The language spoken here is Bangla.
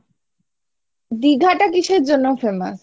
দীঘাটা কিসের জন্য famous?